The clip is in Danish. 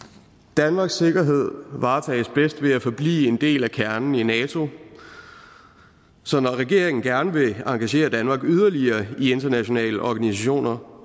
danmarks sikkerhed varetages bedst ved at forblive en del af kernen i nato så når regeringen gerne vil engagere danmark yderligere i internationale organisationer